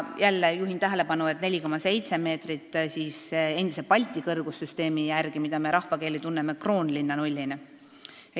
Jällegi, juhin tähelepanu, et 4,7 meetrit oli endise Balti kõrgussüsteemi järgi, mida me tunneme Kroonlinna nullina.